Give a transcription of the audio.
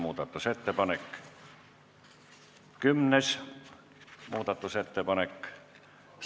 Kümnes muudatusettepanek ...